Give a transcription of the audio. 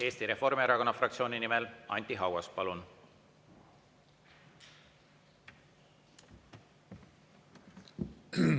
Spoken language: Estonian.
Eesti Reformierakonna fraktsiooni nimel Anti Haugas, palun!